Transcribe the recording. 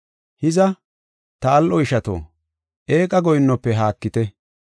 Hiza, ta al7o ishato, eeqa goyinnofe haakite.